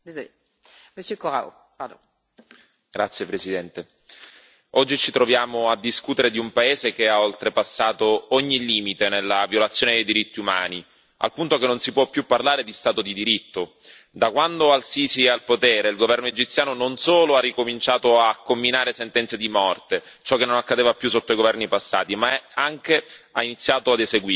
Signora Presidente, onorevoli colleghi, oggi ci troviamo a discutere di un paese che ha oltrepassato ogni limite nella violazione dei diritti umani, al punto che non si può più parlare di Stato di diritto. Da quando El Sisi è al potere, il governo egiziano non solo ha ricominciato a comminare sentenze di morte, cosa che non accadeva più sotto i governi passati, ma anche ha iniziato ad eseguirle.